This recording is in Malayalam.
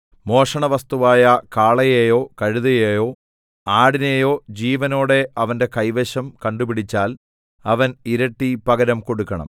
മോഷണവസ്തുവായ കാളയെയോ കഴുതയെയോ ആടിനെയോ ജീവനോടെ അവന്റെ കൈവശം കണ്ടുപിടിച്ചാൽ അവൻ ഇരട്ടി പകരം കൊടുക്കണം